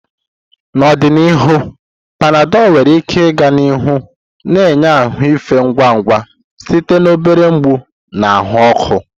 N'ọdịnihu, Panadol nwere ike ịga n'ihu na-enye ahụ efe ngwa ngwa site na obere mgbu na ahụ ọkụ.